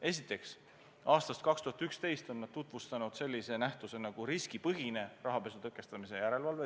Esiteks, aastast 2011 on need tekitanud sellise nähtuse nagu riskipõhine rahapesu tõkestamise järelevalve.